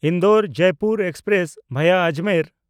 Indore-Jaipur express ᱵᱷᱟᱭᱟ Ajmer